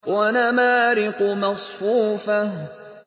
وَنَمَارِقُ مَصْفُوفَةٌ